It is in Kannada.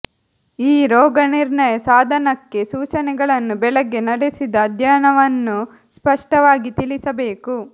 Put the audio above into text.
ಈ ರೋಗನಿರ್ಣಯ ಸಾಧನಕ್ಕೆ ಸೂಚನೆಗಳನ್ನು ಬೆಳಗ್ಗೆ ನಡೆಸಿದ ಅಧ್ಯಯನವನ್ನು ಸ್ಪಷ್ಟವಾಗಿ ತಿಳಿಸಬೇಕು